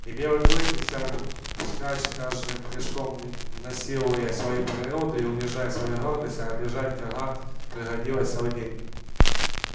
и белый клык нёсся вскачь каждым прыжком насилуя свою природу и унижая свою гордость а бежать гак приходилось целый день